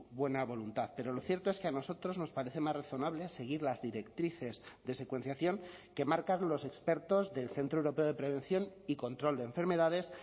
buena voluntad pero lo cierto es que a nosotros nos parece más razonable seguir las directrices de secuenciación que marcan los expertos del centro europeo de prevención y control de enfermedades